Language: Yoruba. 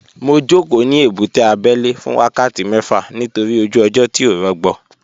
Mo jókòó ní ebúté abẹ́lé fún wákàtí mẹ́fà nítorí ojú ọjọ́ tí ò rọgbọ